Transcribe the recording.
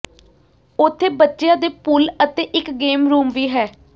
ਉੱਥੇ ਬੱਚਿਆਂ ਦੇ ਪੂਲ ਅਤੇ ਇਕ ਗੇਮ ਰੂਮ ਵੀ ਹੈ